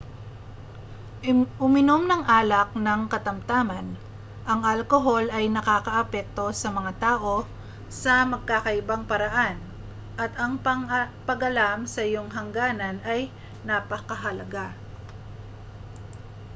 uminom ng alak nang katamtaman ang alkohol ay nakaaapekto sa mga tao sa magkakaibang paraan at ang pag-alam sa iyong hangganan ay napakahalaga